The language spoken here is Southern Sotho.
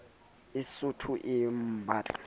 e sootho e mabanta a